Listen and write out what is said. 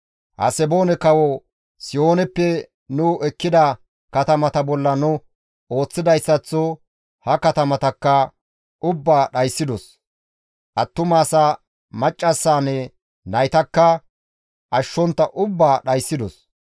Haseboone kawo Sihooneppe nu ekkida katamata bolla nu ooththidayssaththo ha katamatakka ubbaa dhayssidos; attuma asaa, maccassaanne naytakka ashshontta ubbaa dhayssidos.